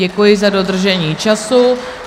Děkuji za dodržení času.